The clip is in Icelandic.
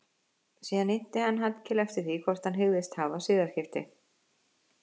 Síðan innti hann Hallkel eftir því hvort hann hygðist hafa siðaskipti.